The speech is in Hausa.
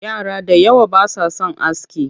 Yara da yawa ba sa son aski